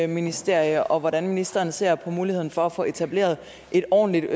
ministerium og hvordan ministeren ser på muligheden for at få etableret et ordentligt